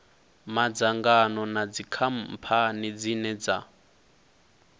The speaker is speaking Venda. madzangano na dzikhamphani dzine dza